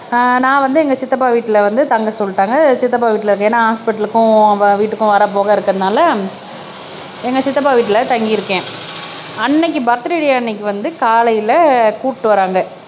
அஹ் நான் வந்து எங்க சித்தப்பா வீட்டுல வந்து தங்க சொல்லிட்டாங்க சித்தப்பா வீட்டுல இருக்கு ஏன்னா ஹாஸ்பிடல்க்கும் வீட்டுக்கும் வர்ற போக இருக்கிறதனால எங்க சித்தப்பா வீட்டுல தங்கியிருக்கேன் அன்னைக்கு பர்த்டே அன்னைக்கு வந்து காலையில கூட்டிட்டு வர்றாங்க